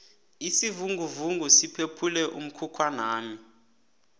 isivinguvungu siphephule umkhukhwanami